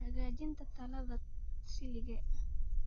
Hagaajinta Tayada Silage